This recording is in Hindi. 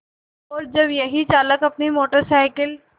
और जब यही चालक अपनी मोटर साइकिल